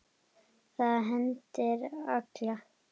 Það hendir alla